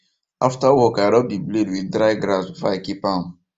after work i rub the blade with dry grass before i keep am